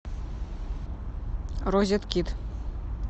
розеткид